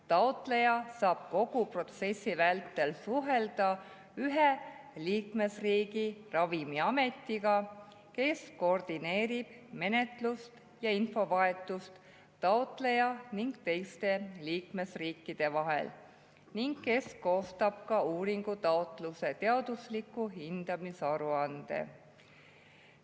Taotleja saab kogu protsessi vältel suhelda ühe liikmesriigi ravimiametiga, kes koordineerib menetlust ja infovahetust taotleja ning teiste liikmesriikide vahel ja kes koostab ka uuringutaotluse teadusliku hindamise aruande.